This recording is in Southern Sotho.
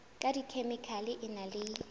ka dikhemikhale e na le